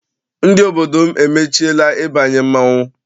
Ndị obodo m emechiela ịbanye mmọnwụ